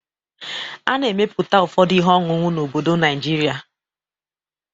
A na-emeputa ụfọdụ ihe ọṅụṅụ n'obodo Najịrịa.